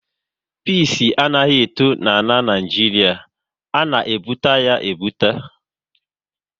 Pịs anaghị eto n'Naijiria, a na ebubata ya ebubata